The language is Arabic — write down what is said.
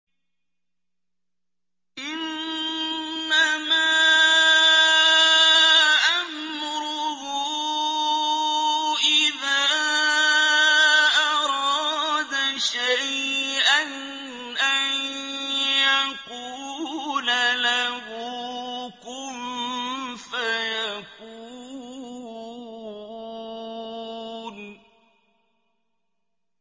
إِنَّمَا أَمْرُهُ إِذَا أَرَادَ شَيْئًا أَن يَقُولَ لَهُ كُن فَيَكُونُ